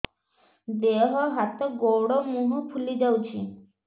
ଦେହ ହାତ ଗୋଡୋ ମୁହଁ ଫୁଲି ଯାଉଛି